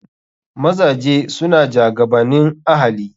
Mazaje suna jagabanin ahali.